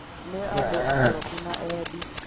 Nĩ andũ akoroku na eendi